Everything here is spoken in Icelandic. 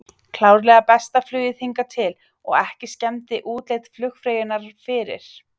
Klárlega besta flugið hingað til og ekki skemmdi útlit flugfreyjunnar fyrir.